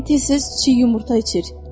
Yəqin tilis çiy yumurta içir.